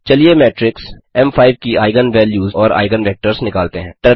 चलिए मेट्रिक्स एम5 की आइगन वैल्यूज़ और आइगन वेक्टर्स निकालते हैं